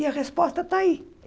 E a resposta está aí.